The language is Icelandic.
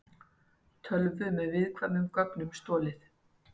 Tölvu með viðkvæmum gögnum stolið